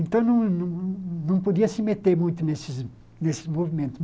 Então, não não não não podia se meter muito nesses nesse movimento.